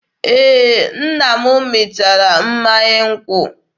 Ee, nna m mịtara mmanya nkwụ.